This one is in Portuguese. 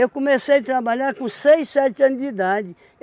comecei a trabalhar com seis, sete anos de idade.